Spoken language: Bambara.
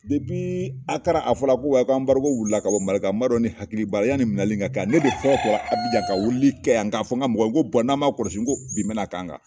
Depiii akara a fɔra ko wa yi ko anbarigo wulila ka bɔ mali n m'a dɔn ni hakili b'ala yani minɛli in ka kɛ ne de fɔlɔ tola abijan ka welelikɛ yan k'a fɔ n ka mɔgɔw ko bɔn n'a ma kɔlɔsi ko bin bɛna k'an kan